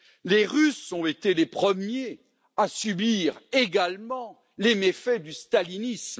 Les Russes ont été les premiers à subir également les méfaits du stalinisme.